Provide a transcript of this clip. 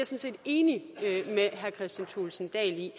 set enig med herre kristian thulesen dahl i